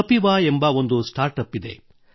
ಕಪಿವಾ ಎಂಬ ಒಂದು startup ಇದೆ